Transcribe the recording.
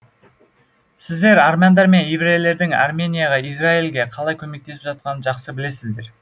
сіздер армяндар мен еврейлердің арменияға израильге қалай көмектесіп жатқанын жақсы білесіздер